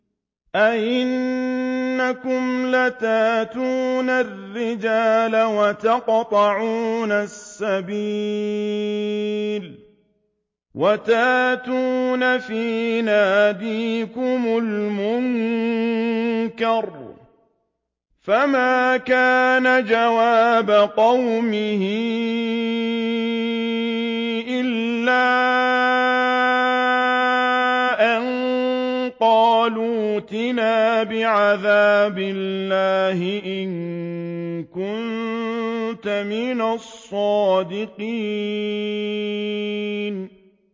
أَئِنَّكُمْ لَتَأْتُونَ الرِّجَالَ وَتَقْطَعُونَ السَّبِيلَ وَتَأْتُونَ فِي نَادِيكُمُ الْمُنكَرَ ۖ فَمَا كَانَ جَوَابَ قَوْمِهِ إِلَّا أَن قَالُوا ائْتِنَا بِعَذَابِ اللَّهِ إِن كُنتَ مِنَ الصَّادِقِينَ